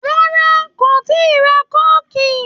Rárá, kò tíi ra kóòkì